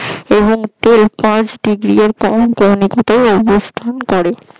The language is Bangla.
এবং তেল পাঁচ ডিগ্রী ক্রমনিকাতে অবস্থান করে